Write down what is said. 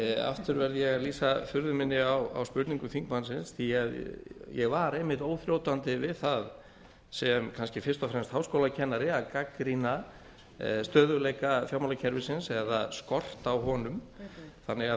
aftur verð ég að lýsa furðu minni á spurningu þingmannsins því ég var einmitt óþrjótandi við það sem kannski fyrst og fremst háskólakennari að gagnrýna stöðguleika fjármálakerfisins eða skort á honum þannig að